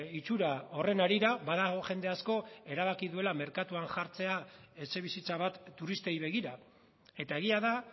itxura horren harira badago jende asko erabaki duela merkatuan jartzea etxebizitza bat turistei begira eta egia da